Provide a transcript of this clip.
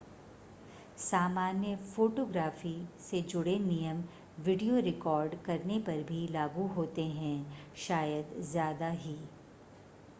सामान्य फ़ोटोग्राफ़ी से जुड़े नियम वीडियो रिकॉर्ड करने पर भी लागू होते हैं शायद ज़्यादा ही